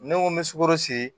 Ne ko n bɛ sukoro siri